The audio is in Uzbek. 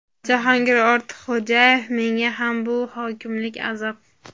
Jahongir Ortiqxo‘jayev: Menga ham bu hokimlik azob.